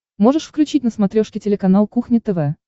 можешь включить на смотрешке телеканал кухня тв